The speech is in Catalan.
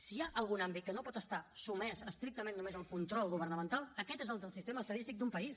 si hi ha algun àmbit que no pot estar sotmès estrictament només al control governamental aquest és el del sistema estadístic d’un país